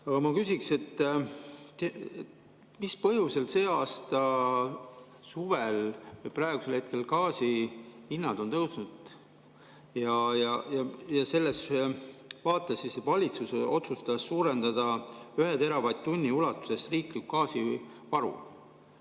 Aga ma küsiksin, mis põhjusel see aasta suvel või praegusel hetkel gaasihinnad on tõusnud ja selles vaates siis valitsus otsustas suurendada ühe teravatt-tunni ulatuses riiklikku gaasivaru.